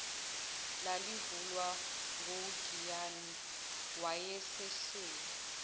lalivulwa ngugiyani wayesahleli